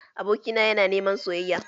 Abokina yana niman soyayya